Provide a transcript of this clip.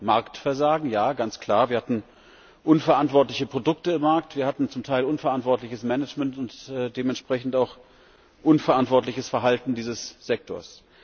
Wir hatten Marktversagen ja, ganz klar, wir hatten unverantwortliche Produkte am Markt, wir hatten zum Teil unverantwortliches Management und dementsprechend auch unverantwortliches Verhalten dieses Sektors.